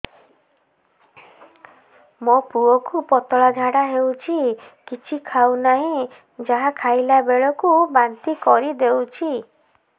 ମୋ ପୁଅ କୁ ପତଳା ଝାଡ଼ା ହେଉଛି କିଛି ଖାଉ ନାହିଁ ଯାହା ଖାଇଲାବେଳକୁ ବାନ୍ତି କରି ଦେଉଛି